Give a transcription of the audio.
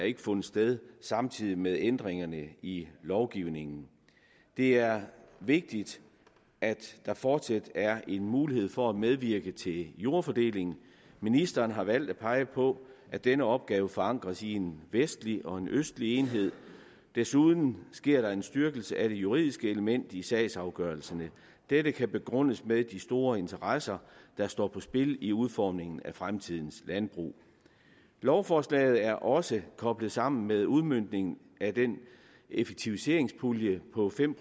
ikke fundet sted samtidig med ændringerne i lovgivningen det er vigtigt at der fortsat er en mulighed for at medvirke til jordfordelingen ministeren har valgt at pege på at denne opgave forankres i en vestlig og en østlig enhed desuden sker der en styrkelse af det juridiske element i sagsafgørelserne dette kan begrundes med de store interesser der står på spil i udformningen af fremtidens landbrug lovforslaget er også koblet sammen med udmøntningen af den effektiviseringspulje på fem